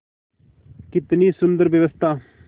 कितनी सुंदर व्यवस्था